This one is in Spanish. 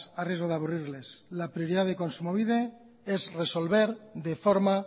a riesgo de aburrirles la prioridad de kontsumobide es resolver de forma